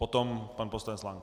Potom pan poslanec Lank.